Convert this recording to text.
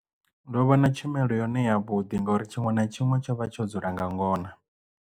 Ndo vha na tshumelo yone ya vhuḓi ngori tshiṅwe na tshiṅwe tsho vha tsho dzula nga ngona.